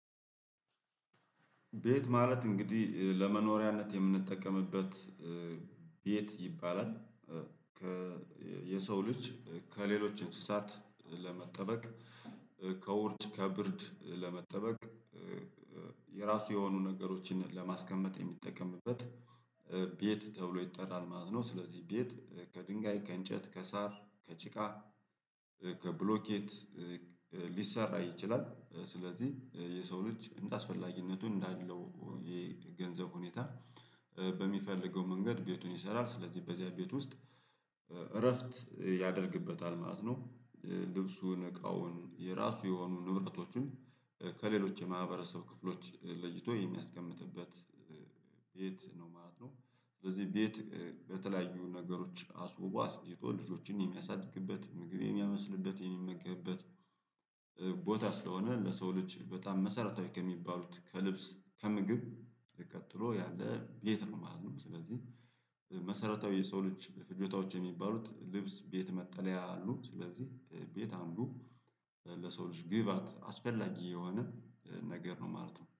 ቤት ማለት እንግዲህ ለመኖሪያነት የምንጠቀምበት ቤት ይባላል። የሰው ልጅ ከሌሎች እንስሳት ለመጠበቅ ከወርጭ ከብርድ ለመጠበቅ። የራሱ የሆኑ ነገሮችን ለማስቀመጥ የሚጠቀምበት ቤት ተብሎ ይጠራል ማለት ነው። ስለዚህ ቤት ከድንጋይ ከእንጨት ከሳር ከጭቃ ከብሎኬት ሊሰራ ይችላል። ስለዚህ የሰው ልጅ እንደአስፈላጊነቱ እንዳለው የገንዘብ ሁኔታ በሚፈልገው መንገድ ቤቱን ይሰራል። ስለዚህ በዚያ ቤት ውስጥ እረፍት ያደርግበታል ማለት ነው። ልብሱን እቃውን የራሱ የሆኑ ንብረቶቹን ከሌሎች የማህበረሰብ ክፍሎች ለይቶ የሚያስቀምጥበት ቤት ነው ማለት ነው። ስለዚህ ቤት በተለያዩ ነገሮች አስውቦ አስጊጦ ልጆችን የሚያሳድግበት ምግብ የሚያበስልበት የሚመገብበት ቦታ ስለሆነ። ለሰው ልጅ በጣም መሰረታዊ ከሚባሉት ከልብስ ከምግብ ቀጥሎ ያለ ቤት ነው ማለት ነው። ስለዚህ መሰረታዊ የሰው ልጅ ፍጆታዎች የሚባሉት ልብስ ቤት መጠለያ አሉ። ስለዚህ ቤት አንዱ ለሰው ልጅ ግብአት አስፈላጊ የሆነ ነገር ነው ማለት ነው